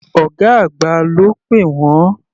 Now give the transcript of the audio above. Ọ̀gá àgbà ló pè wọ́n.